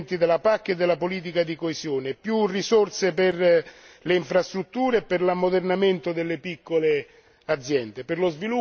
Più risorse per le infrastrutture e per l'ammodernamento delle piccole aziende, per lo sviluppo per la crescita e soprattutto per il lavoro.